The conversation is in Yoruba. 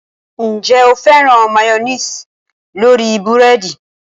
Ǹjẹ́ o féràn máyọ́néésì lórí búrẹ́dì?